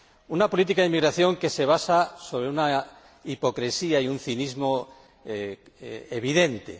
Una política de inmigración que se basa sobre una hipocresía y un cinismo evidentes.